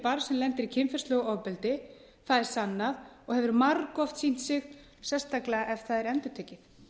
barns sem lendir í kynferðislegu ofbeldi það er sannað og hefur margoft sýnt sig sérstaklega ef það er endurtekið